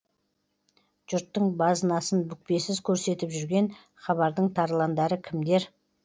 жұрттың базынасын бүкпесіз көрсетіп жүрген хабардың тарландары кімдер